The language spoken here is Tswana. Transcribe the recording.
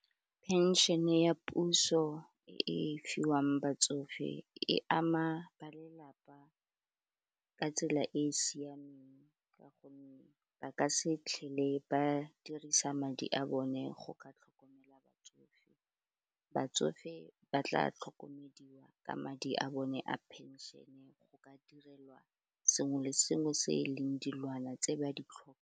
Pension-e ya puso e fiwang batsofe e ama ba lelapa ka tsela e e siameng ka gonne ba ka se tlhele ba dirisa madi a bone go ka tlhokomela batsofe, batsofe ba tla tlhokomediwa ka madi a bone a penšene go ka direlwa sengwe le sengwe se e leng dilwana tse ba di tlhokang.